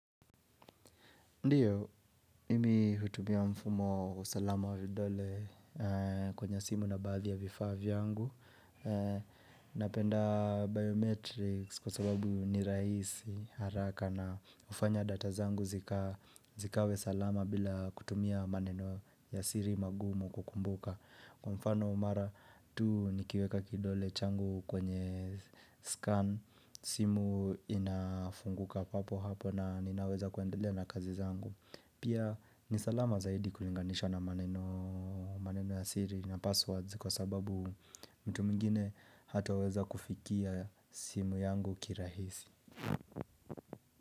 Ndiyo, mimi hutumia mfumo usalama vidole kwenye simu na bathi ya vifavya angu. Napenda biometrics kwa sababu ni raisi haraka na ufanya data zangu zikawe salama bila kutumia maneno ya siri magumu kukumbuka. Kwa mfano mara tu nikiweka kidole changu kwenye scan simu inafunguka papo hapo na ninaweza kuendelea na kazi zangu Pia nisalama zaidi kulinganisha na maneno ya siri na passwords kwa sababu mtu mingine hataweza kufikia simu yangu kirahisi.